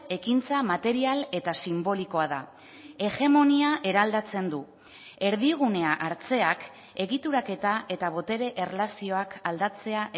ekintza material eta sinbolikoa da hegemonia eraldatzen du erdigunea hartzeak egituraketa eta botere erlazioak aldatzea